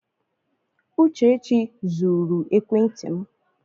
Uchechi zuru ekwenti m.